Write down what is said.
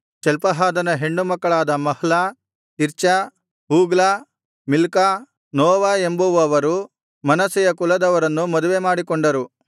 ಚಲ್ಪಹಾದನ ಹೆಣ್ಣುಮಕ್ಕಳಾದ Mahlah Tirzah Hoglah Milcah Noah ಎಂಬುವವರು ಮನಸ್ಸೆಯ ಕುಲದವರನ್ನು ಮದುವೆಮಾಡಿಕೊಂಡರು